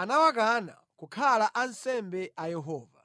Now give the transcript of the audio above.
anawakana kukhala ansembe a Yehova.